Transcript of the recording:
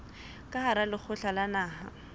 ka hara lekgotla la naha